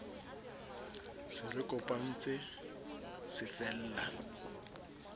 se re kopantse se fella